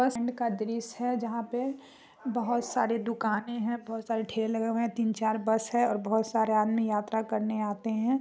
का दृश्य है जहां पर बहोत सारी दुकाने हैं बहोत सारे ठेले लगे है और बहोत सारे आदमी यात्रा करने आते हैं।